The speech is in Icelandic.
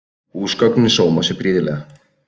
Húsgögnin sóma sér prýðilega